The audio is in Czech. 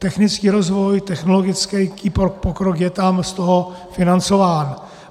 Technický rozvoj, technologický pokrok je tam z toho financován.